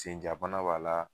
Senjabana b'a la